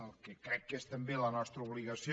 el que crec que és també la nostra obligació